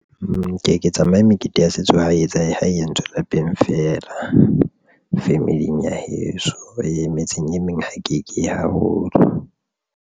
Nkeke tsamaye mekete ya setso ha entswe etsa e ho entswe lapeng feela. Family ya heso e metseng e meng ha ke keye haholo.